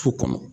Su kɔnɔ